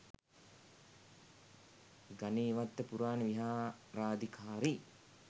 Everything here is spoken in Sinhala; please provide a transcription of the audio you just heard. ගනේවත්ත පුරාණ විහාරාධිකාරී,